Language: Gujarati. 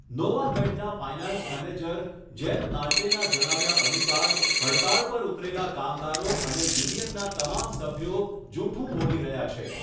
નોવામેડનાં ફાયનાન્સ મેનેજર જેમ નાલ્ટેનાં જણાવ્યા અનુસાર, હડતાળ પર ઉતરેલા કામદારો અને યુનિયનનાં તમામ સભ્યો જૂઠું બોલી રહ્યા છે.